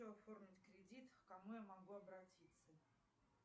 хочу оформить кредит к кому я могу обратиться